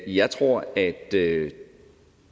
jeg tror at det